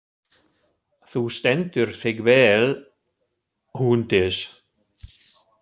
Þú stendur þig vel, Húndís!